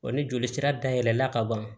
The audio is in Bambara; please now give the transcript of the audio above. Wa ni joli sira dayɛlɛla ka ban